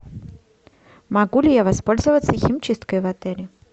могу ли я воспользоваться химчисткой в отеле